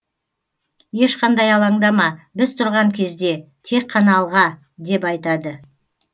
ешқандай алаңдама біз тұрған кезде тек қана алға деп айтады